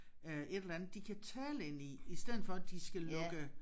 Øh et eller andet de kan tale ind i i stedet for de skal lukke